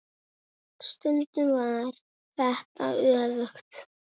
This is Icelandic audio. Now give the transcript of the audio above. Stundum var þetta öfugt.